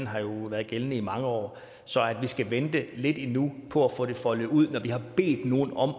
har været gældende i mange år så at vi skal vente lidt endnu på at få det foldet ud når vi har bedt nogen om at